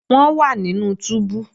Wọ́n wà nínú túbú